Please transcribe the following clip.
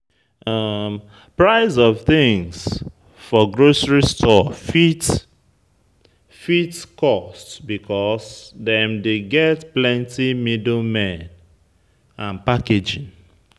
Price of things for grocery store fit fit cost because dem dey get plenty middlemen and packaging